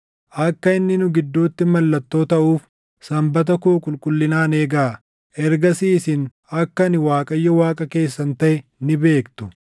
Akka inni nu gidduutti mallattoo taʼuuf Sanbata koo qulqullinaan eegaa. Ergasii isin akka ani Waaqayyo Waaqa keessan taʼe ni beektu.”